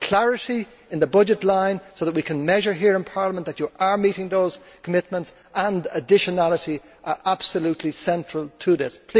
Clarity in the budget line, so that we can measure here in Parliament that you are meeting those commitments, and additionality are absolutely central to this.